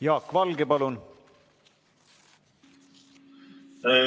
Jaak Valge, palun!